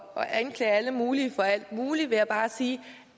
at anklage alle mulige for alt muligt bare sige